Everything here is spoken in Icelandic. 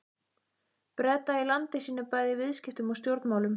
Breta í landi sínu bæði í viðskiptum og stjórnmálum.